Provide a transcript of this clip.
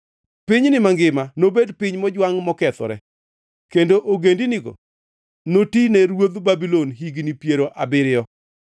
Pinyni mangima nobed piny mojwangʼ mokethore, kendo ogendinigi noti ne ruodh Babulon higni piero abiriyo.